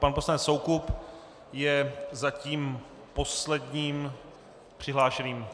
Pan poslanec Soukup je zatím posledním přihlášeným.